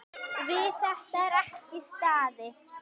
Við þetta var ekki staðið.